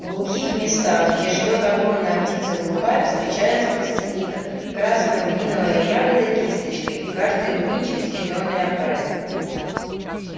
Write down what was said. в глухих местах где живёт огромная птица глухарь встречается костяника красно-рубиновая ягода кисточкой и каждый рубинчик в зелёной оправе